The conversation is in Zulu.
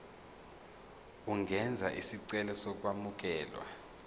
ungenza isicelo sokwamukelwa